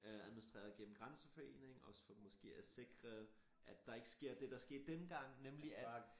Øh administreret gennem grænseforeningen også for måske at sikre at er ikke sker det der skete dengang nemlig at